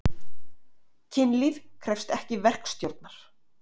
Kynlíf krefst ekki verkstjórnar.